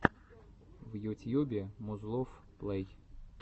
в ютьюбе музлофф плэй